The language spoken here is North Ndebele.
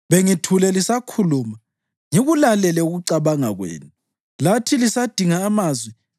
Bengithule lisakhuluma, ngikulalele ukucabanga kwenu; lathi lisadinga amazwi,